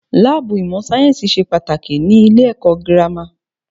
Láàbù ìmọ̀ sáyẹ́nsì ṣe pàtàkì ní ilé ẹ̀kọ́ gírámà.